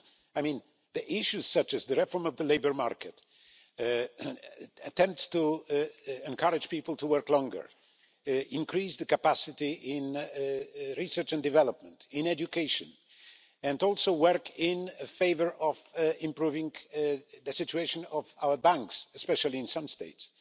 I mean, issues such as the reform of the labour market, attempts to encourage people to work longer, increase capacity in research and development, in education, and also to work in favour of improving the situation of our banks, especially in some states.